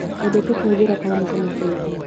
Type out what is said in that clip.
Wendete kũhũthĩra karamu kana benjũ?